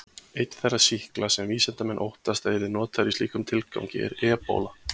Einn þeirra sýkla sem vísindamenn óttast að yrði notaður í slíkum tilgangi er ebóla.